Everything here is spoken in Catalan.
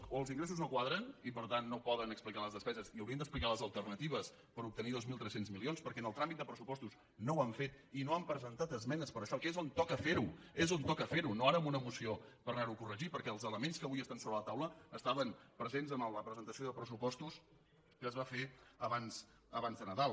o els ingressos no quadren i per tant no poden explicar les despeses i haurien d’explicar les alternatives per obtenir dos mil tres cents milions perquè en el tràmit de pressupostos no ho han fet i no han presentat esmenes per a això que és on toca ferho és on toca ferho no ara amb una moció per anarho a corregir perquè els elements que avui estan sobre la taula estaven presents en la presentació de pressupostos que es va fer abans de nadal